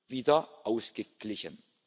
wieder ausgeglichen.